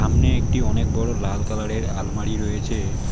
সামনে একটি অনেক বড়ো লাল কালারের আলমারি রয়েছে।